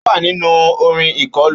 Ó wà nínú orin ìkọlù.